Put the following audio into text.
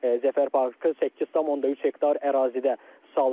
Zəfər parkı 8.3 hektar ərazidə salınır.